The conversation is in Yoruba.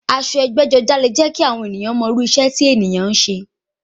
Aṣọ ẹgbẹ́-jọdá leè jẹ́ kí àwọn èèyàn mọ irú iṣẹ́ tí ẹni ń ṣe.